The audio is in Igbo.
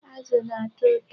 Azụ na-atọ ụtọ.